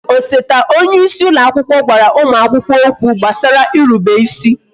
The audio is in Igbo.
Osote onyeisi ụlọ akwụkwọ gwara ụmụ akwụkwọ okwu gbasara irube ịsị